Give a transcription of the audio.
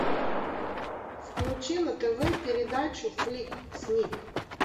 включи на тв передачу фликс снип